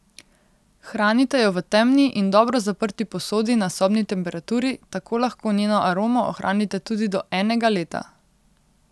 Hranite jo v temni in dobro zaprti posodi na sobni temperaturi, tako lahko njeno aromo ohranite tudi do enega leta.